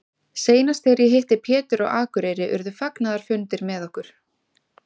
Seinast þegar ég hitti Pétur á Akureyri urðu fagnaðarfundir með okkur.